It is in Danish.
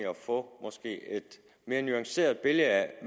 at få et mere nuanceret billede af